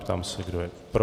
Ptám se, kdo je pro?